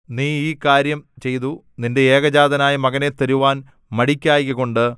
നീ ഈ കാര്യം ചെയ്തു നിന്റെ ഏകജാതനായ മകനെ തരുവാൻ മടിക്കായ്കകൊണ്ട്